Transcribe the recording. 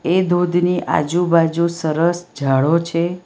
એ ધોધની આજુબાજુ સરસ ઝાડો છે.